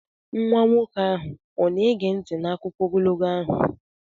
Nwa nwoke ahụ ọ na-ege nti n'akụkọ ogologo ahụ?